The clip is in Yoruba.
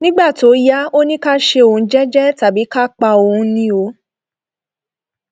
nígbà tó yá ó ní ká ṣe òun jẹẹjẹ tàbí ká pa òun ni o